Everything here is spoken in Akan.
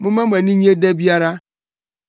Momma mo ani nnye da biara